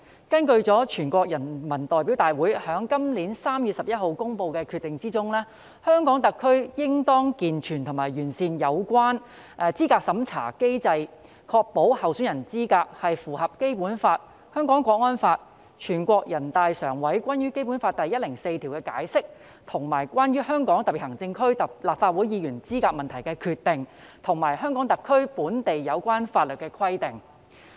根據全國人民代表大會今年3月11日公布的《決定》，香港特區應當健全和完善有關資格審查制度機制，確保候選人資格符合《基本法》、《香港國安法》、全國人民代表大會常務委員會關於《基本法》第一百零四條的解釋和關於香港特別行政區立法會議員資格問題的決定，以及香港特區本地有關法律的規定。